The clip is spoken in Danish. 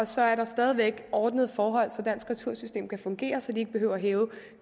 så er der stadig væk ordnede forhold så dansk retursystem kan fungere så de ikke behøver at hæve